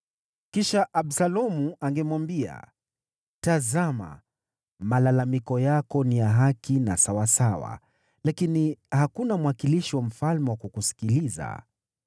Kisha Absalomu angemwambia, “Tazama, malalamiko yako ni ya haki na sawasawa, lakini hakuna mwakilishi wa mfalme wa kukusikiliza.”